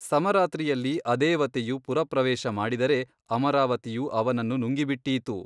ಸಮರಾತ್ರಿಯಲ್ಲಿ ಅದೇವತೆಯು ಪುರಪ್ರವೇಶ ಮಾಡಿದರೆ ಅಮರಾವತಿಯು ಅವನನ್ನು ನುಂಗಿಬಿಟ್ಟೀತು.